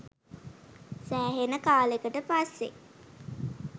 සෑහෙන කාලෙකට පස්සේ